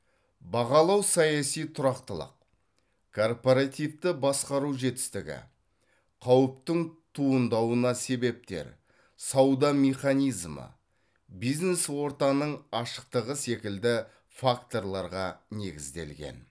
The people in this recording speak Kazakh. бағалау саяси тұрақтылық корпоративті басқару жетістігі қауіптің туындауына себептер сауда механизмі бизнес ортаның ашықтығы секілді факторларға негізделген